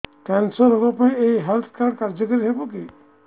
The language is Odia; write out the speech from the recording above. କ୍ୟାନ୍ସର ରୋଗ ପାଇଁ ଏଇ ହେଲ୍ଥ କାର୍ଡ କାର୍ଯ୍ୟକାରି ହେବ କି